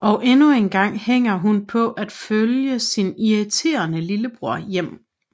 Og endnu engang hænger hun på at følge sin irriterende lillebror hjem